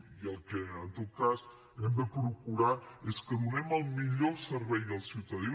i el que en tot cas hem de procurar és que donem el millor servei al ciutadà